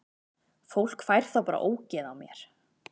Fólk fær þá bara ógeð á mér.